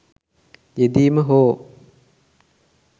යෙදීම හෝ